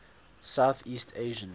south east asian